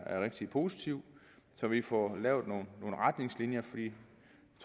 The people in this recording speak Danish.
rigtig positivt så vi får lavet nogle retningslinjer